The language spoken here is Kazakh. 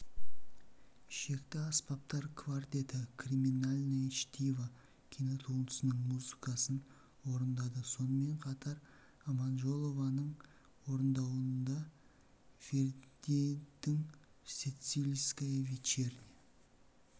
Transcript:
ішекті аспаптар квартеті криминальное чтиво кинотуындысының музыкасын орындады сонымен қатар аманжолованың орындауында вердидің сицилийская вечерня